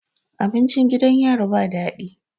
Abincin gidan yari ba dadi